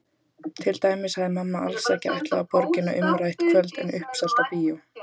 Til dæmis hafði mamma alls ekki ætlað á Borgina umrætt kvöld en uppselt á bíó.